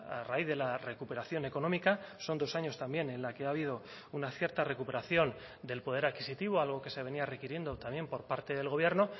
a raíz de la recuperación económica son dos años también en la que ha habido una cierta recuperación del poder adquisitivo algo que se venía requiriendo también por parte del gobierno